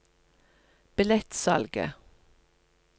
billettsalget